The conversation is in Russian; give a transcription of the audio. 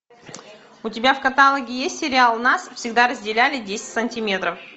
у тебя в каталоге есть сериал нас всегда разделяли десять сантиметров